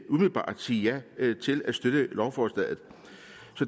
sige ja til at støtte lovforslaget